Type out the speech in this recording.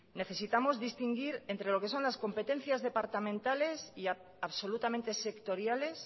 necesitamos distinguir entre lo que son las competencias de departamentales y absolutamente sectoriales